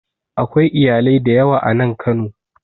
Akwai iyalai da yawa a nan Kano